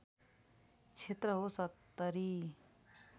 क्षेत्र हो ७०